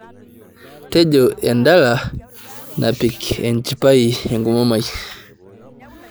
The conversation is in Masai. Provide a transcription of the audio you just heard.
tejo endala napik enchipai enkomom ai